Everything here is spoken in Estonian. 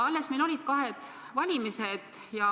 Alles meil olid kahed valimised.